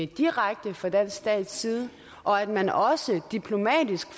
direkte fra den danske stats side og at man også ad diplomatisk